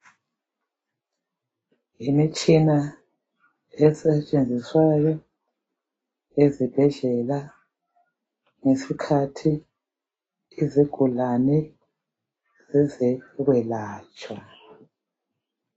Imitshina esetshenziswayo ezibhedlela ngesikhathi izigulani siyakuyelatshwa ziyabangcedisa kakhulu odokotela nxa beyelapha isigulani